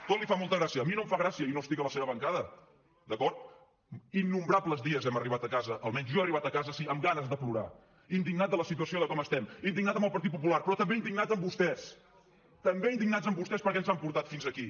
tot li fa molta gràcia a mi no em fa gràcia i no estic a la seva bancada d’acord innombrables dies hem arribat a casa almenys jo he arribat a casa sí amb ganes de plorar indignat de la situació de com estem indignat amb el partit popular però també indignat amb vostès també indignat amb vostès perquè ens han portat fins aquí